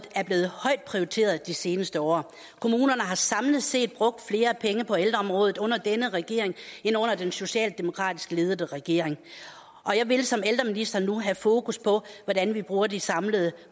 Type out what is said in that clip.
er blevet højt prioriteret de seneste år kommunerne har samlet set brugt flere penge på ældreområdet under denne regering end under den socialdemokratisk ledede regering jeg vil som ældreminister nu have fokus på hvordan vi bruger de samlede